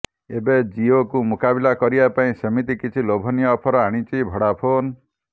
ଏବେ ଜିଓକୁ ମୁକାବିଲା ପାଇଁ ସେମିତି କିଛି ଲୋଭନୀୟ ଅଫର ଆଣିଛି ଭୋଡାଫୋନ୍